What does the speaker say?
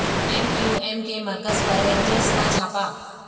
M Q M کے مرکز پر رینجرز کا چھاپہ